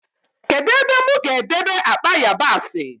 Kedụ ebe mụ ga-edebe akpa yabasị?